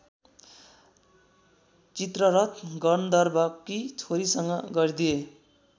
चित्ररथ गन्धर्वकी छोरीसँग गरिदिए